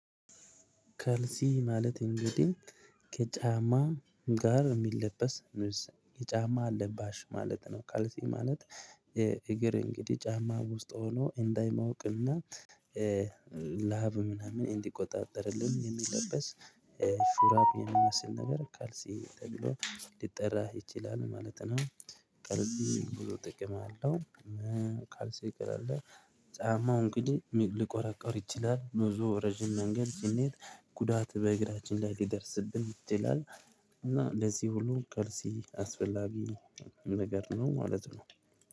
ከልሲ ማለት እንግዲህ ከጫማ ጋር የሚለበስ ኑስ የጫማ አለባሽ ማለት ነው። ቀልሲ ማለት። እግር እንግዲህ ጫማ ውስጥ ሆኖ እንዳይማወቅና። ላብ ምናምን እንዲቆጣጠርልን የሚለበስ ሹራብ የሚመስል ነገር ካልሲ ተብሎ ሊጠራህ ይችላል ማለት ነው። ጥርዚ ብሎ ጥቅም አለው። ካልሰ ቀለለ ጫማው እንግዲህ ሊቆረቆር ይችላል ብዙ ረጅም መንገድ ጭኔት ጉዳት በእግራችን ላይ ሊደርስብን ይችላል። እና እንደዚህ ሁሉ ቅርጽ አስፈላጊ ነገር ነው ማለት ነው